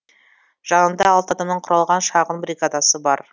жанында алты адамнан құралған шағын бригадасы бар